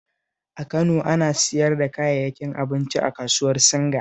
A Kano, ana siyar da kayayyakin abinci a kasuwar Singa